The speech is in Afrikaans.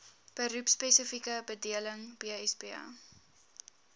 beroepspesifieke bedeling bsb